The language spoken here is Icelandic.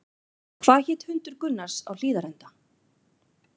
Hvað hét hundur Gunnars á Hlíðarenda?